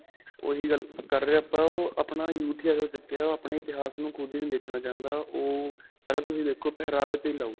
ਓਹੀ ਗੱਲ ਕਰ ਰਹੇ ਆਪਾਂ, ਅਅ ਆਪਣਾ youth ਹੀ ਹੋ ਚੁੱਕਿਆ ਓਹ ਆਪਣੇ ਹੀ ਇਤਿਹਾਸ ਨੂੰ ਖ਼ੁਦ ਹੀ ਨਹੀਂ ਦੇਖਣਾ ਚਾਹੁੰਦਾ. ਓਹ ਪਹਿਲਾਂ ਤੁਸੀਂ ਦੇਖੋ ਪਹਿਰਾਵੇ ਤੇ ਹੀ ਲਾਓ.